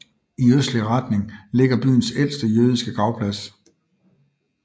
I østlig retning ligger byens ældste jødiske gravplads